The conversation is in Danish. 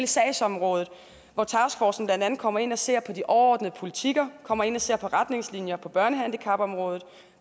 sagsområdet hvor taskforcen blandt andet kommer ind og ser på de overordnede politikker kommer ind og ser på retningslinjer på børnehandicapområdet